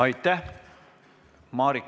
Aitäh!